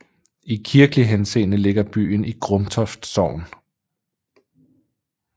I kirkelig henseende ligger byen i Grumtoft Sogn